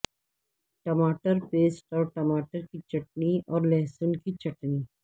ٹماٹر پیسٹ اور ٹماٹر کی چٹنی اور لہسن کی چٹنی